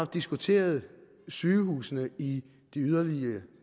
diskuteret sygehusene i de yderlige